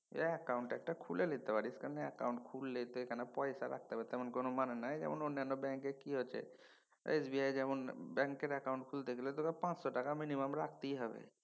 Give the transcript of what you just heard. Account খুলে লিতে পারে অ্যাকাউন্ট খুললেই যে পয়সা রাখতে হবে তেমন কোনও মানে নাই। অন্যান্য ব্যাঙ্কে কি হচ্ছে SBI যেমন ব্যাঙ্কের অ্যাকাউন্ট খুলতে গেলে তোকে পাঁচশ টাকা minimum রাখতেই হবে।